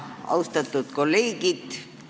Austatud kolleegid!